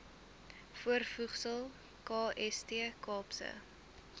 voorvoegsel kst kaapse